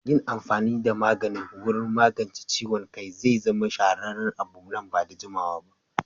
Yin amfani da magani wurin magance ciwon kai zai zama shahararren abu nan ba da jimawa ba.